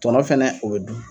Tɔnɔ fɛnɛ o bɛ dun